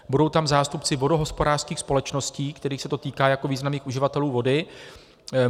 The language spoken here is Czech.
Budou tam zástupci vodohospodářských společností, kterých se to týká jako významných uživatelů vody.